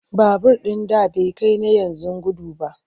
Babur ɗin da bai kai na yanzu gudu ba.